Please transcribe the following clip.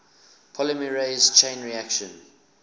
polymerase chain reaction